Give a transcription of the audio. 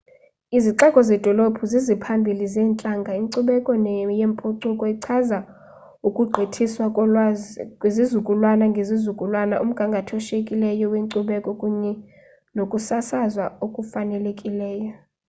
izixeko zedolophu ziziphambili zeentlanga inkcubeko yempucuko ichaza ukugqithiswa kolwazi kwizizukulwana ngezizukulwana umgama oshiyekileyo wenkcubeko kunye nokusasazwa okufanelekileyo